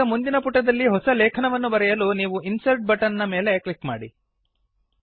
ಈಗ ಮುಂದಿನ ಪುಟದಲ್ಲಿ ಹೊಸ ಲೇಖನವನ್ನು ಬರೆಯಲು ನೀವು ಇನ್ಸರ್ಟ್ ಬಟನ್ ನ ಮೇಲೆ ಕ್ಲಿಕ್ ಮಾಡಿ